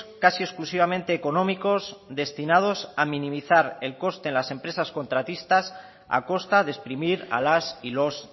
casi exclusivamente económicos destinados a minimizar el coste en las empresas contratistas a costa de exprimir a las y los